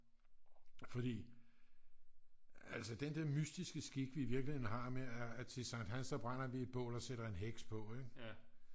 fordi altså den der mystiske skik vi i virkeligheden har med at til sankt hans der brænder vi et bål og sætter en heks på ik